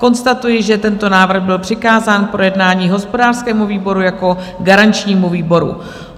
Konstatuji, že tento návrh byl přikázán k projednání hospodářskému výboru jako garančnímu výboru.